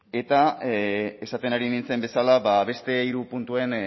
eta esaten ari nintzen bezala beste hiru puntuen